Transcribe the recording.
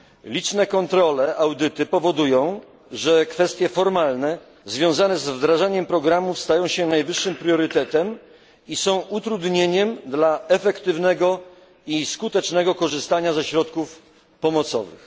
Liczne kontrole, audyty powodują, że kwestie formalne związane z wdrażaniem programów stają się najwyższym priorytetem i są utrudnieniem dla efektywnego i skutecznego korzystania ze środków pomocowych.